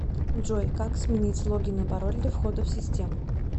джой как сменить логин и пароль для входа в систему